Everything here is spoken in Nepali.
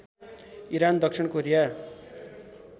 इरान दक्षिण कोरिया